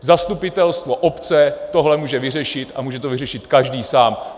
Zastupitelstvo obce tohle může vyřešit a může to vyřešit každý sám.